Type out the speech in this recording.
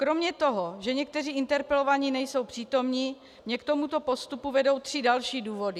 Kromě toho, že někteří interpelovaní nejsou přítomni, mě k tomuto postupu vedou tři další důvody.